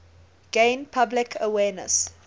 gain public awareness